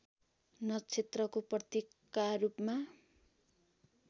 नक्षत्रको प्रतीकका रूपमा